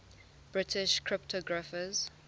british cryptographers